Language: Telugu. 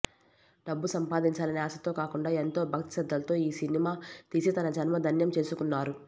డబ్బు సంపాదించాలనే ఆశతో కాకుండా ఎంతో భక్తిశ్రద్ధలతో ఈ సినిమా తీసి తన జన్మ ధన్యం చేసుకున్నారు